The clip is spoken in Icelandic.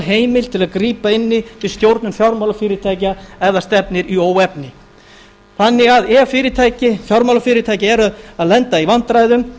til að grípa inn í við stjórnun fjármálafyrirtækja ef það stefnir í óefni ef því fjármálafyrirtæki eru að lenda í vandræðum